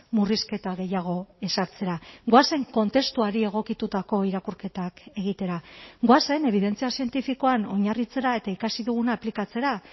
murrizketa gehiago ezartzera goazen kontestuari egokitutako irakurketak egitera goazen ebidentzia zientifikoan oinarritzera eta ikasi duguna aplikatzera